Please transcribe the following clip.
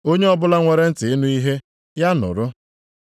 Onye ọbụla nwere ntị ịnụ ihe, ya nụrụ.”